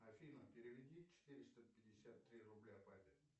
афина переведи четыреста пятьдесят три рубля папе